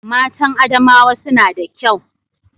Matan Adamawa suna da kyau